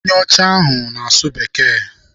Onye ọcha ahụ na-asụ Bekee.